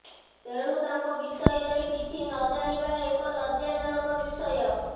ତେଣୁ ତାଙ୍କ ବିଷୟରେ କିଛି ନ ଜାଣିବା ଏକ ଲଜ୍ଜାଜନକ ବିଷୟ